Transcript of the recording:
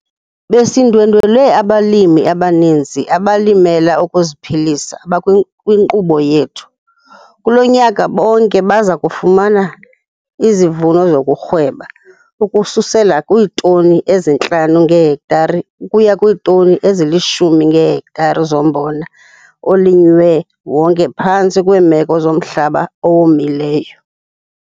Besindwendwele abalimi abaninzi abalimela ukuziphilisa abakwinkqubo yethu - kulo nyaka bonke baza kufumana izivuno zokurhweba, ukususela kwiitoni ezi-5 ngehektare ukuya kwiitoni ezili-10 ngehektare zombona olinywe wonke phantsi kweemeko zomhlaba owomileyo.